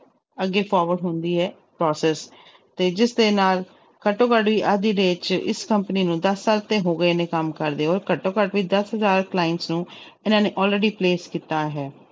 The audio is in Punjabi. ਅੱਗੇ forward ਹੁੰਦੀ ਹੈ process ਤੇ ਜਿਸਦੇ ਨਾਲ ਘੱਟੋ ਘੱਟ ਹੀ ਅੱਜ ਦੀ date 'ਚ ਇਸ company ਨੂੰ ਦਸ ਸਾਲ ਤੇ ਹੋ ਗਏ ਨੇ ਕੰਮ ਕਰਦੇ ਹੋਏ ਘੱਟੋ ਘੱਟ ਵੀ ਦਸ ਹਜ਼ਾਰ clients ਨੂੰ ਇਹਨਾਂ ਨੇ already place ਕੀਤਾ ਹੈ।